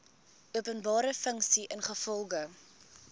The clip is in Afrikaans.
openbare funksie ingevolge